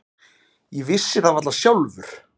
Ég vissi það varla sjálfur.